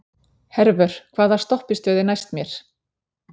Hervör, hvaða stoppistöð er næst mér?